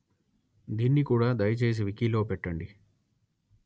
దీన్ని కూడా దయచేసి వికి లో పెట్టండి